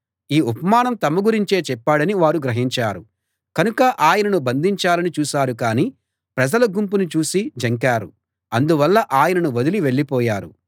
ఈ ఉపమానం తమ గురించే చెప్పాడని వారు గ్రహించారు కనుక ఆయనను బంధించాలని చూశారు కాని ప్రజల గుంపును చూసి జంకారు అందువల్ల ఆయనను వదిలి వెళ్ళిపోయారు